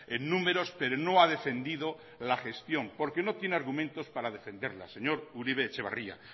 en números pero no ha defendido la gestión porque no tiene argumentos para defenderla señor uribe etxebarria